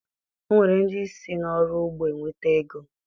O nwere ndị si n'ọrụ ugbo enweta ego